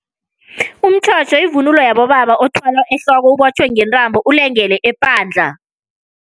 Umtjhotjho yivunulo yabobaba othwalwa ehloko, ibotjhwe ngentambo ulengele epandla.